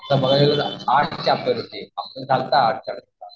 आता मागच्या वेळेला आठ चॅप्टर होते.